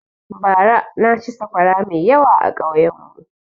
Bara na ci saƙwara mai yawa a ƙauyen mu